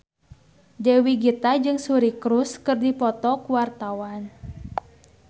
Dewi Gita jeung Suri Cruise keur dipoto ku wartawan